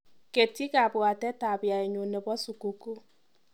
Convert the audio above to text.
Ketyi kabwatetap yaenyu nebo sukukuu.